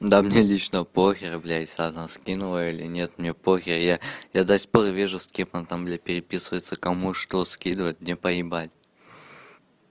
да мне лично похер бля если она скинула или нет мне похер я я до сих пор вижу с кем она там для переписывается кому что скидывать мне поебать